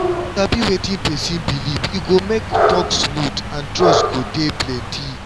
um e um be like say no be all patients go gree um for di same healing way and dat wan dey okay.